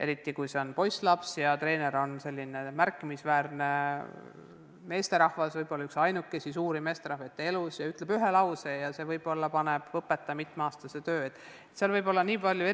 Eriti kui trennis on poisslaps ja treener on märkimisväärne meesterahvas, võib-olla üks väheseid autoriteetseid meesterahvaid lapse elus, kes ütleb ühe lause, siis võib see panna õpetaja mitmeaastase töö löögi alla.